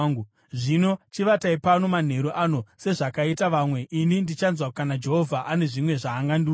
Zvino chivatai pano manheru ano sezvakaita vamwe, ini ndichanzwa kana Jehovha ane zvimwe zvaangandiudza.”